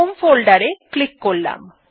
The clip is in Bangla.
হোম ফোল্ডার এ ক্লিক করলাম